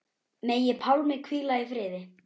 Megi Pálmi hvíla í friði.